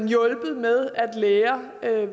hjulpet med at lære